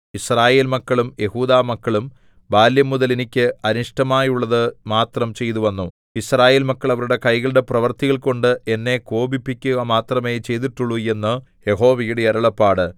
യിസ്രായേൽമക്കളും യെഹൂദാമക്കളും ബാല്യംമുതൽ എനിക്ക് അനിഷ്ടമായുള്ളതു മാത്രം ചെയ്തുവന്നു യിസ്രായേൽ മക്കൾ അവരുടെ കൈകളുടെ പ്രവൃത്തികൾകൊണ്ട് എന്നെ കോപിപ്പിക്കുക മാത്രമേ ചെയ്തിട്ടുള്ളു എന്ന് യഹോവയുടെ അരുളപ്പാട്